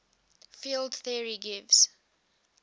field theory gives